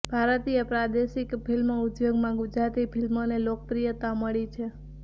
ભારતીય પ્રાદેશિક ફિલ્મ ઉદ્યોગમાં ગુજરાતી ફિલ્મોને લોકપ્રિયતા મળી છે